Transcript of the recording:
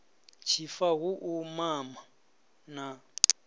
tshifa hu u mama na